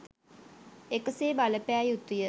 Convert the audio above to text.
එකසේ බල පෑ යුතුය.